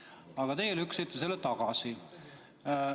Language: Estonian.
Aga teie lükkasite selle tagasi.